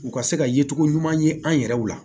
U ka se ka yecogo ɲuman ye an yɛrɛw la